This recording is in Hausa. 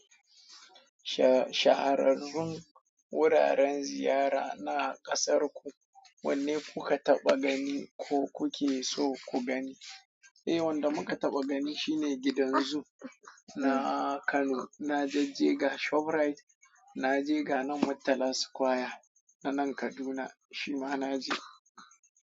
Sha--shahararrun wuraren ziyara na ƙasar ku wanne kuka taɓa gani ko kuke so ku gani? Eh, wanda muka taɓa gani shine gidan zoo na Kano. Na jajje ga ShopRite, na je ga nan Murtala Square a nan Kaduna, shi ma na je.